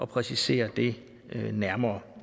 præcisere det nærmere